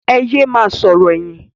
Ẹ yẹ ma sọ̀rọ̀ ẹyin.